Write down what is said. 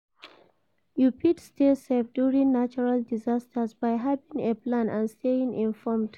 You fit stay safe during natural disasters by having a plan and staying informed?